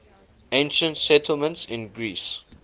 ancient settlements in greece